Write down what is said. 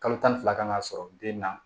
Kalo tan ni fila kan ka sɔrɔ den na